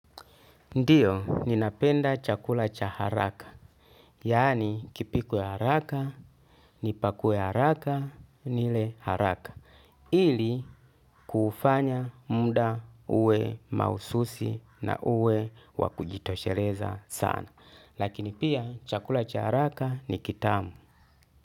Ndiyo, ninapenda chakula cha haraka. Yaani, kipikwe haraka, nipakue haraka, nile haraka. Ili, kufanya muda uwe mahususi na uwe wa kujitosheleza sana. Lakini pia, chakula cha haraka ni kitamu.